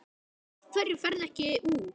Af hverju ferðu ekki úr?